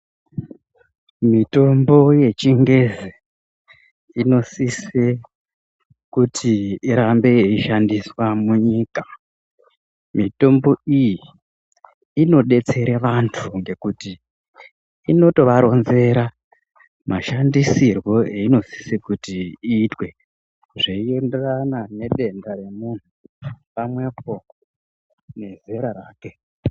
Mitombo yechingezi inosise kuti irambe yeishandiswa munyika. Mitombo iyi inodetsere vantu ngenguti inotovaronzera mashanfisirwo eyinosisa kuti iitwe zveienderana nedenda remuntu pamwepo nezera rake.